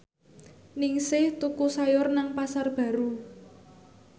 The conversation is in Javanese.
Ningsih tuku sayur nang Pasar Baru